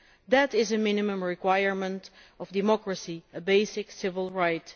That is a minimum requirement of democracy, a basic civil right.